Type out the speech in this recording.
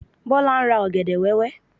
Bọ́lá ń ra ọ̀gẹ̀dẹ̀ wẹ́wẹ́.